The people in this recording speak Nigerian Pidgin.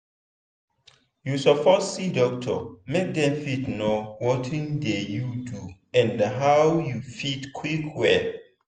you suppose see doctor make dem fit know watin dey do you and how you fit quick well.